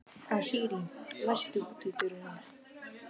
Asírí, læstu útidyrunum.